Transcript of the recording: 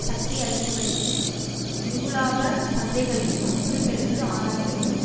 சக்தி அளிப்புக்களையும் மிகுலாப சந்தைகளையும் அச்சுறுத்தலுக்கு ஆளாக்கியுள்ளன